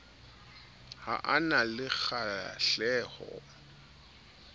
ha a na le kgahleho